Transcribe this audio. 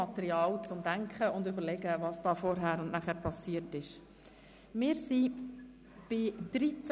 Was eben passiert ist, liefert Ihnen bestimmt Material zum Nachdenken.